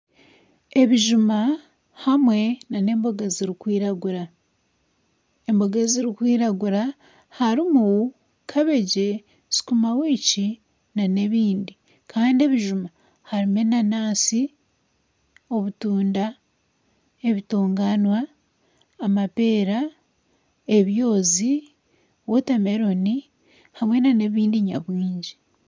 Ebijuma hamwe n'embogo zirikwiragura. Emboga ezirikwiragura harimu kabegi, sukuma wikyi, n'ebindi kandi ebijuma harimu enanasi, obutunda, ebitonganywa, amapeera, ebyozi wotameroni hamwe n'ebindi nyamwingi.